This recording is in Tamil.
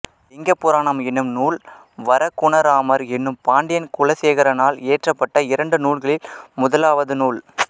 இலிங்க புராணம் என்னும் நூல் வரகுணராமர் என்னும் பாண்டியன் குலசேகரனால் இயற்றப்பட்ட இரண்டு நூல்களில் முதலாவது நூல்